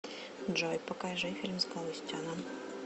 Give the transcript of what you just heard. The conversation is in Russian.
джой покажи фильм с галустяном